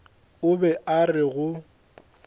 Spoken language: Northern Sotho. o be a re go